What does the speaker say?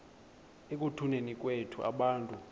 ekutuneni kwethu abantu